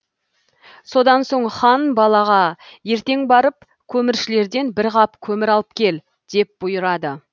содан соң хан балаға ертең барып көміршілерден бір қап көмір алып кел деп бұйырады